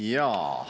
Jaa.